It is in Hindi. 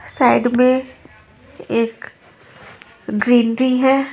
साइड में एक ग्रीनरी है।